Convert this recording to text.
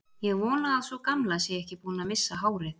Ég vona að sú gamla sé ekki búin að missa hárið.